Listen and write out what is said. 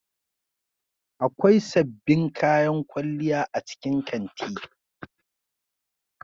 Akwai sabbin kayan kwalliya a cikin kanti.